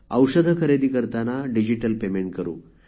औषधे खरेदी करताना डिजिटल पेमेंट करू